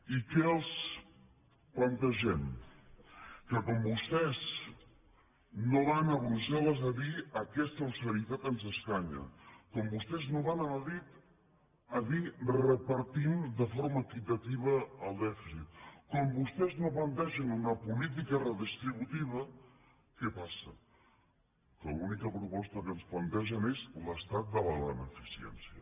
i què els plantegem que com vostès no van a brusselles a dir aquesta austeritat ens escanya com vostès no van a madrid a dir repartim de forma equitativa el dèficit com vostès no plantegen una política redistributiva què passa que l’única proposta que ens plantegen és l’estat de la beneficència